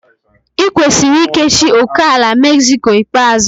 I kwesiri ikechi ókèala Mexico ikpeazụ.